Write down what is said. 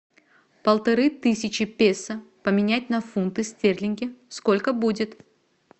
полторы тысячи песо поменять на фунты стерлинги сколько будет